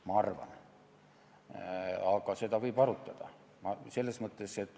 Ma arvan nii, aga seda võib arutada.